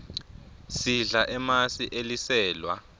sidla emasi eliselwa